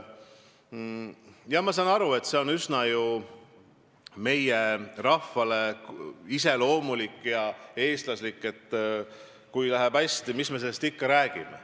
Jah, ma saan aru, see on ju meie rahvale üsna iseloomulik, see on eestlaslik, et kui läheb hästi, siis mis me sellest ikka räägime.